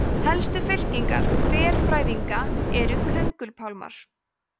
helstu fylkingar berfrævinga eru köngulpálmar